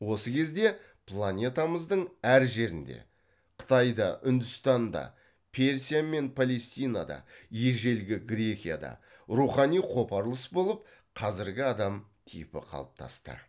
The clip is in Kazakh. осы кезде планетамыздың әр жерінде қытайда үндістанда персия мен палестинада ежелгі грекияда рухани қопарылыс болып қазіргі адам типі қалыптасты